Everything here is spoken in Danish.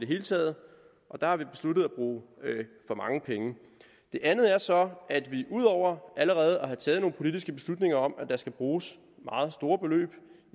hele taget og der har vi besluttet at bruge for mange penge den andet er så at vi ud over allerede at have taget nogle politiske beslutninger om at der skal bruges meget store beløb